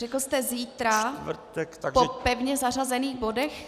Řekl jste zítra po pevně zařazených bodech?